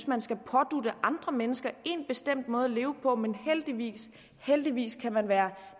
man skal pådutte andre mennesker en bestemt måde at leve på men heldigvis heldigvis kan man være